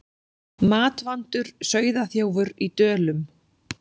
Matvandur sauðaþjófur í Dölum